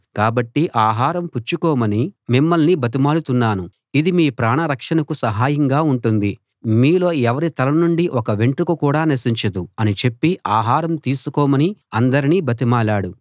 కాబట్టి ఆహారం పుచ్చుకోమని మిమ్మల్ని బతిమాలుతున్నాను ఇది మీ ప్రాణరక్షణకు సహాయంగా ఉంటుంది మీలో ఎవరి తలనుండీ ఒక్క వెంట్రుక కూడా నశించదు అని చెప్పి ఆహారం తీసుకోమని అందరినీ బతిమాలాడు